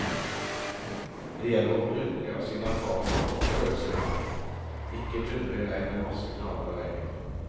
Det gjelder å bruke av sine erfaringer og prøve seg litt frem, ikke dundre i vei med en masse knallharde regler.